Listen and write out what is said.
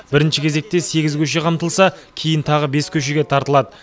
бірінші кезекте сегіз көше қамтылса кейін тағы бес көшеге тартылады